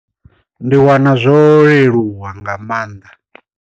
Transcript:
Ndi wana zwo leluwa nga maanḓa.